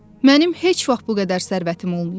Mənim heç vaxt bu qədər sərvətim olmayıb.